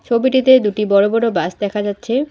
ছবিটিতে দুটি বড় বড় বাস দেখা যাচ্ছে।